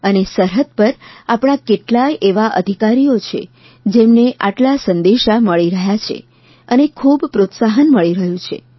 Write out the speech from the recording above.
અને સરહદ પર આપણા કેટલાય એવા અધિકારીઓ છે જેમને આટલા સંદેશા મળી રહ્યા છે અને ખૂબ પ્રોત્સાહન મળી રહ્યું છે